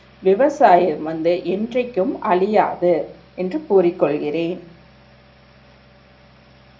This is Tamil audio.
விவசாயம் வந்து இன்றைக்கும் அழியாது என்று கூறி கொள்கிறேன்